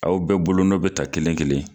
Aw bɛɛ bolonɔ bɛ ta kelen kelen